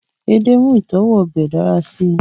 ede mu itọwo obe dara si